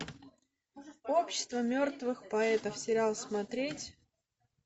общество мертвых поэтов сериал смотреть